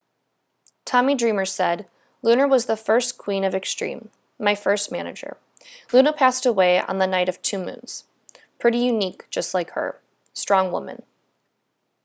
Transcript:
tommy dreamer said luna was the first queen of extreme my first manager luna passed away on the night of two moons pretty unique just like her strong woman